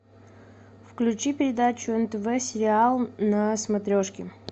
включи передачу нтв сериал на смотрешке